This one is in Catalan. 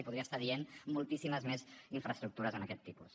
i podria estar dient moltíssimes més infraestructures d’aquest tipus